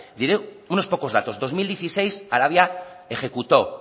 diré unos pocos datos dos mil dieciséis arabia ejecutó